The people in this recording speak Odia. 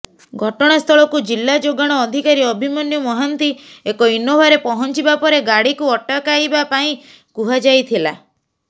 ଘଟଣାସ୍ଥଳକୁ ଜିଲ୍ଲା ଯୋଗାଣ ଅଧିକାରୀ ଅଭିମନ୍ୟୁ ମହାନ୍ତି ଏକ ଇନୋଭାରେ ପହଂଚିବା ପରେ ଗାଡ଼ିକୁ ଅଟକାଇବା ପାଇଁ କୁହାଯାଇଥିଲା